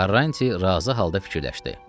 Karranti razı halda fikirləşdi.